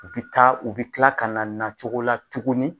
U bɛ taa u bɛ kila ka na nacogo la tuguni